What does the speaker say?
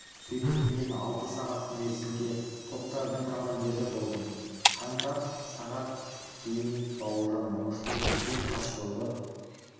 сөйтіп мен алты сағат мерзімге топтардың командирі болдым қаңтар сағат дейін бауыржан момышұлы үлкен тас жолды